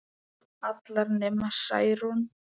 Allar nema Særún